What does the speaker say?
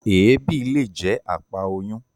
Èébì le jẹ àpá oyun.